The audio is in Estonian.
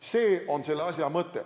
See on selle asja mõte.